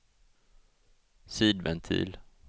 sidventil